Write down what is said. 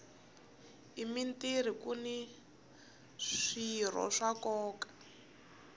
emirhini kuni swirho swa nkoka